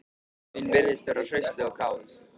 Dóttir mín virðist vera hraustleg og kát